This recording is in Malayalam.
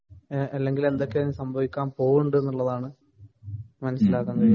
അല്ലെങ്കില്‍ എന്തൊക്കെയോ സംഭവിക്കാന്‍ പോന്നുണ്ട് എന്നുള്ളതാണ്.മനസിലാക്കാന്‍ കഴിയുന്നത്.